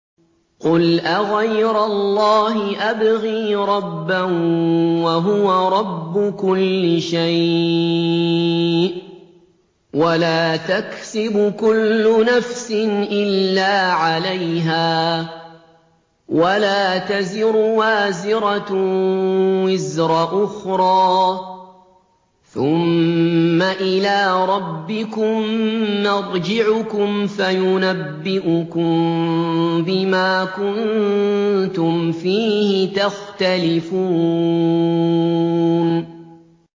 قُلْ أَغَيْرَ اللَّهِ أَبْغِي رَبًّا وَهُوَ رَبُّ كُلِّ شَيْءٍ ۚ وَلَا تَكْسِبُ كُلُّ نَفْسٍ إِلَّا عَلَيْهَا ۚ وَلَا تَزِرُ وَازِرَةٌ وِزْرَ أُخْرَىٰ ۚ ثُمَّ إِلَىٰ رَبِّكُم مَّرْجِعُكُمْ فَيُنَبِّئُكُم بِمَا كُنتُمْ فِيهِ تَخْتَلِفُونَ